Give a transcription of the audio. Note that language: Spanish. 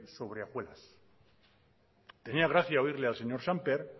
sobre hojuelas tenía gracia oírle al señor sémper